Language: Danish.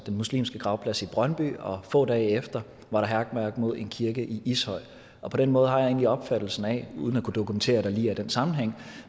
muslimske gravplads i brøndby og få dage efter var der hærværk mod en kirke i ishøj på den måde har jeg egentlig opfattelsen af uden at kunne dokumentere at der lige er den sammenhæng